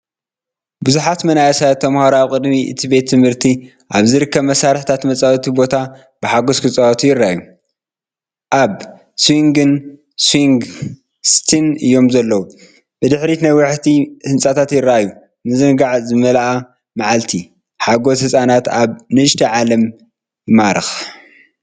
ብዙሓት መንእሰያት ተማሃሮ ኣብ ቅድሚት እቲ ቤት ትምህርቲ ኣብ ዝርከብ መሳርሒታት መጻወቲ ቦታ ብሓጎስ ክጻወቱ ይረኣዩ። ኣብ ስዊንግን ስዊንግ ሲትን እዮም ዘለዉ። ብድሕሪት ነዋሕቲ ህንጻታት ይረኣዩ። ምዝንጋዕን ዝመልአት መዓልቲ፡ ሓጎስ ህጻናት ኣብ ንእሽቶ ዓለም ይማረኽ!